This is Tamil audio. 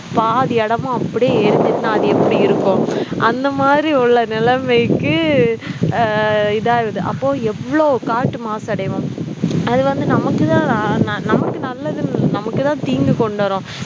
பாதி இடமும் அப்படியே எரிஞ்சிச்சுன்னா அது எப்படி இருக்கும் அந்த மாதிரி உள்ள நிலைமைக்கு அஹ் இதாகுது அப்போ எவ்ளோ காற்று மாசடையும் அது வந்து நமக்கு தான் அஹ் நமக்கு நல்லது இல் நமக்கு தான் தீங்கு கொண்டு வரும்